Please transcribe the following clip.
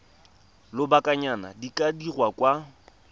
lobakanyana di ka dirwa kwa